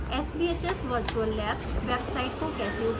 sbhs virtual labs website को कैसे उपयोग करते हैं